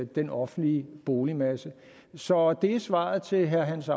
den offentlige boligmasse så det er svaret til herre hans